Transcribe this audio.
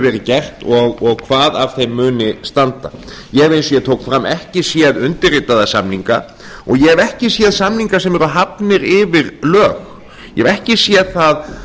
verið gert og hvað af þeim muni standa ég hef eins og ég tók fram ekki séð undirritaða samning og ég hef ekki séð samninga sem eru hafnir yfir lög ég hef ekki séð það